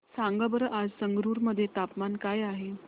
सांगा बरं आज संगरुर मध्ये तापमान काय आहे